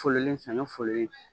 Fololen saɲɔ fololen